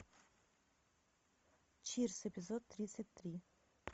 чирс эпизод тридцать три